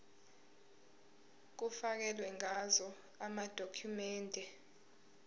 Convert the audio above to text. kufakelwe ngazo amadokhumende